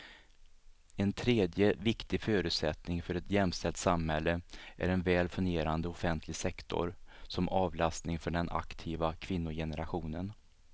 En tredje viktig förutsättning för ett jämställt samhälle är en väl fungerande offentlig sektor som avlastning för den aktiva kvinnogenerationen.